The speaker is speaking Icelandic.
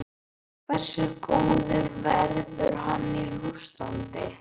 Hversu góður verður hann í Rússlandi?